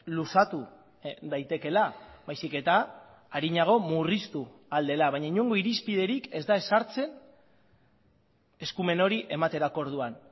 luzatu daitekeela baizik eta arinago murriztu ahal dela baina inongo irizpiderik ez da ezartzen eskumen hori ematerako orduan